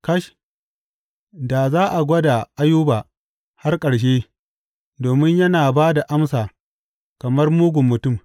Kash, da za a gwada Ayuba har ƙarshe, domin yana ba da amsa kamar mugun mutum.